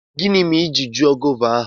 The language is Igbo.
Gini mere i ji ju gova ahu?